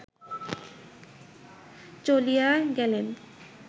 চলিয়া গেলেন